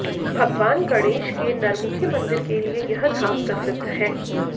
भगवान गणेश के नरमुखी मंदिर के लिये यह धाम प्रसिद्ध है